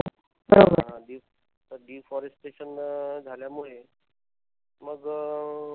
हा the deforestation झाल्यामुळे मग अह